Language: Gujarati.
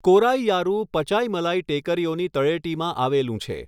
કોરાઇયારૂ પચાઇમલાઈ ટેકરીઓની તળેટીમાં આવેલું છે.